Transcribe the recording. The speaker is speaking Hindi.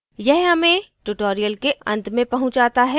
यह हमें tutorial के अंत में पहुँचाता है